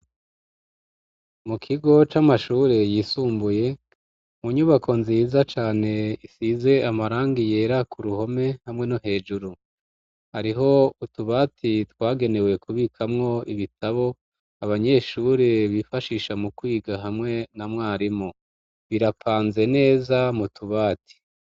Mu kigo c'amashuri yisumbuye mu nyubako nziza cane isize amarangi yera ku ruhome hamwe no hejuru ariho utubati twagenewe kubikamwo ibitabo abanyeshure bifashisha mu kwiga hamwe na mwarimu birapanze neza mutubati.